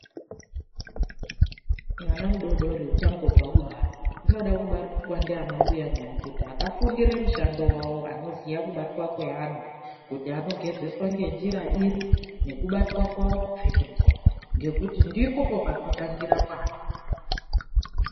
MWANA MUDODORI UCHA NGOBVA KUBARWA UNODA KUBATWA NDIANA MBUYA NYAMUKUTA AKAFUNDIRE MUSHANDO WAWO. ANOZIYA KUBATWA KWEANA KUTI ANOGEZESWA NENJIRA IRI, NEKUBATWA KWAWO, KUPFEKEDZWA, NGEKUTI NDIPO PANOTANGIRA MWANA.